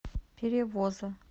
перевоза